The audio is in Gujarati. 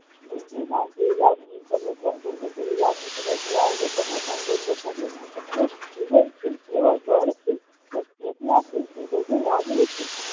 બુદ્ધિમાન જેવી લાગણી તમે ધ બુદ્ધ જેવી લાગણી તમે ધરાવો તો તમે પણ બુદ્ધ થશો એ જીવન છે તેઓ બળ છે તે એકલા છે એ બધી લાગણી છે